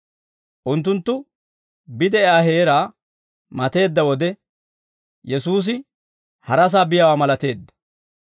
Unttunttu bide'iyaa heeraa mateedda wode, Yesuusi harasaa biyaawaa malateedda.